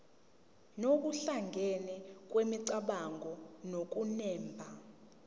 nokuhlangana kwemicabango nokunemba